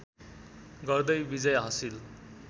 गर्दै विजय हाँसिल